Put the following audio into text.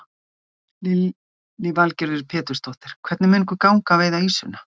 Lillý Valgerður Pétursdóttir: Hvernig mun ykkur ganga að veiða ýsuna?